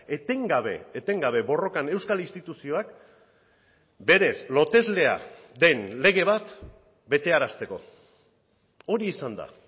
etengabe etengabe borrokan euskal instituzioak berez loteslea den lege bat betearazteko hori izan da